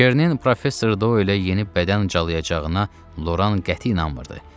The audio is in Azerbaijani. Kernin professor Doyla yeni bədən calayacağına Loran qəti inanmırdı.